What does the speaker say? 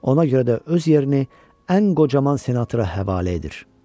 Ona görə də öz yerini ən qocaman senatora həvalə edir.